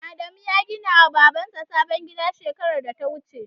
Adamu ya gina wa Babar sa sabon gida shekarar da ta wuce